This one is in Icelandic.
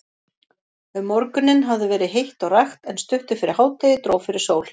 Um morguninn hafði verið heitt og rakt, en stuttu fyrir hádegi dró fyrir sól.